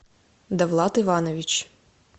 довлат иванович